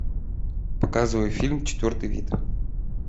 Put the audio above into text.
показывай фильм четвертый вид